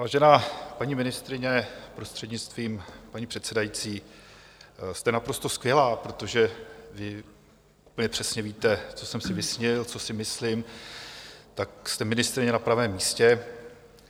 Vážená paní ministryně, prostřednictvím paní předsedající, jste naprosto skvělá, protože vy úplně přesně víte, co jsem si vysnil, co si myslím, tak jste ministryně na pravém místě.